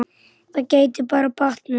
Það gæti bara batnað!